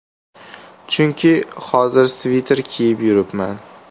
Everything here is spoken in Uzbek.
Chunki hozir sviter kiyib yuribman.